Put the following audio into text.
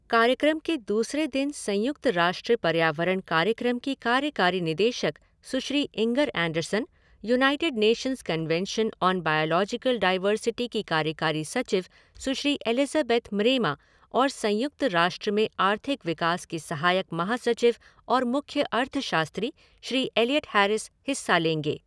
कार्यक्रम के दूसरे दिन संयुक्त राष्ट्र पर्यावरण कार्यक्रम की कार्यकारी निदेशक Sushri Inger Andersen, United Nations Convention on Biological Diversity की कार्यकारी सचिव सुश्री एलिज़ाबेथ म्रेमा और संयुक्त राष्ट्र में आर्थिक विकास के सहायक महासचिव और मुख्य अर्थशास्त्री श्री इलिऑट हैरिस हिस्सा लेंगे।